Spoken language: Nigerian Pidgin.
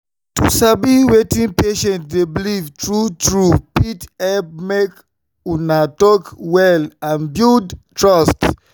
to sabi wetin patient dey believe true-true fit help make una talk well and build trust.